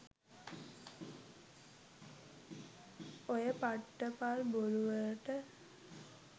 ඔය පට්ටපල් බොරු වලට